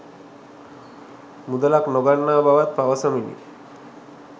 මුදලක් නොගන්නා බවත් පවසමිනි.